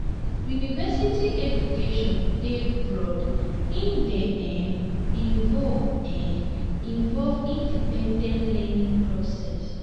university education dey broad e dey um involve um involve independent learning process